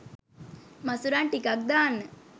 මසුරන් ටිකක් දාන්න